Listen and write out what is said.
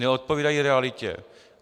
Neodpovídají realitě.